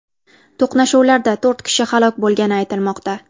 To‘qnashuvlarda to‘rt kishi halok bo‘lgani aytilmoqda.